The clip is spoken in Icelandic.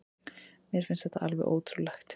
Mér finnst þetta alveg ótrúlegt